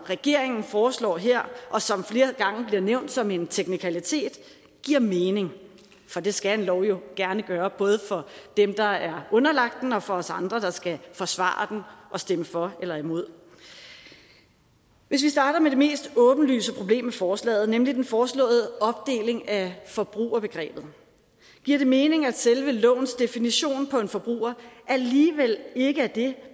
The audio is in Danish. regeringen foreslår her og som flere gange bliver nævnt som en teknikalitet giver mening for det skal en lov jo gerne gøre både for dem der er underlagt den og for os andre der skal forsvare og stemme for eller imod hvis vi starter med det mest åbenlyse problem med forslaget nemlig den foreslåede opdeling af forbrugerbegrebet giver det mening at selve lovens definition på en forbruger alligevel ikke er det